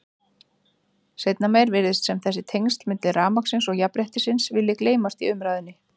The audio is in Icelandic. Seinna meir virðist sem þessi tengsl milli rafmagnsins og jafnréttisins vilji gleymast í umræðunni.